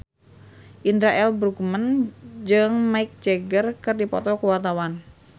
Indra L. Bruggman jeung Mick Jagger keur dipoto ku wartawan